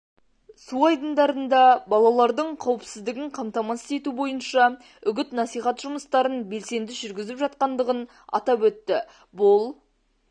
су айдындарында балалардың қауіпсіздігін қамтамасыз ету бойынша үгіт-насихат жұмыстарын белсенді жүргізіп жатқандығын атап өтті бұл